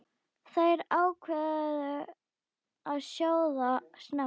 Þær ákváðu að sjóða snemma.